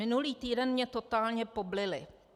"Minulý týden mě totálně poblili.